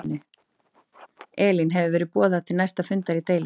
Elín hefur verið boðað til næsta fundar í deilunni?